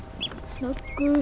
snöggur